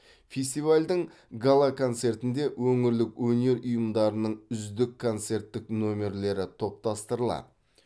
фестивальдің гала концертінде өңірлік өнер ұйымдарының үздік концерттік номерлері топтастырылады